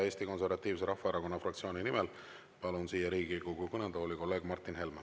Eesti Konservatiivse Rahvaerakonna fraktsiooni nimel siia Riigikogu kõnetooli kõnelema palun kolleeg Martin Helme.